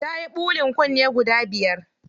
Tayi ɓulin kunne guda biyar.